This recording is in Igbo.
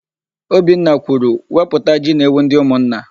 Obinna kwuru, "wepụta ji na ewu ndị ụmụnna"!